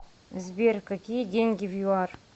сбер какие деньги в юар